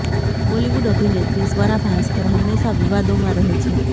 બોલીવુડ અભિનેત્રી સ્વરા ભાસ્કર હંમેશા વિવાદોમાં રહે છે